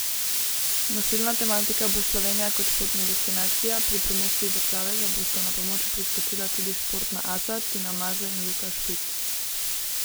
Nosilna tematika bo Slovenija kot športna destinacija, pri promociji države pa bosta na pomoč priskočila tudi športna asa Tina Maze in Luka Špik.